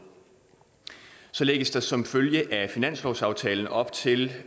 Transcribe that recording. så lægges der som følge af finanslovsaftalen op til